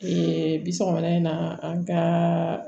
bi sɔkɔmada in na an ka